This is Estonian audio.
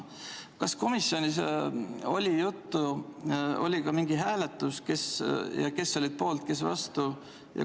Kas komisjonis oli juttu ja kas oli ka mingi hääletus, kes oli poolt, kes vastu?